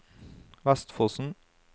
Vestfossen